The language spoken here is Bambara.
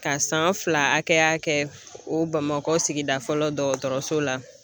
Ka san fila hakɛya kɛ o Bamakɔ sigida fɔlɔ dɔgɔtɔrɔso la